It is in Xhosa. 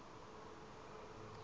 asi okanye u